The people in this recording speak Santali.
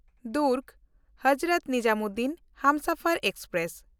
ᱫᱩᱨᱜᱽ-ᱦᱚᱡᱨᱚᱛ ᱱᱤᱡᱟᱢᱩᱫᱽᱫᱷᱱ ᱦᱟᱢᱥᱟᱯᱷᱟᱨ ᱮᱠᱥᱯᱨᱮᱥ